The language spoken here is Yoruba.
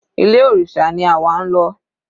Ilé òrìṣà ni àwa ń lọ.